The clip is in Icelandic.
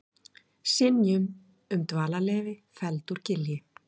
Synjun um dvalarleyfi felld úr gildi